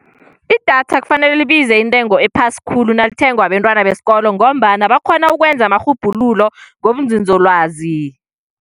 Idatha kufanele libize intengo ephasi khulu nalithengwa bentwana besikolo, ngombana bakghona ukwenza amarhubhululo ngobunzinzolwazi.